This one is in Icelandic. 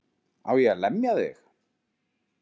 Á ég að lemja þig?